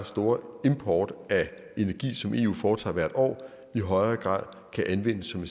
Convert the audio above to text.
store import af energi som eu foretager hvert år i højere grad kan anvendes som